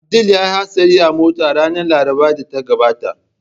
Abdul ya yi hatsari a mota ranar Larabar da ta gabata